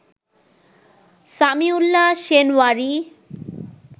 Samiullah Shinwari